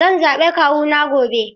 Zan zaɓi kawuna gobe.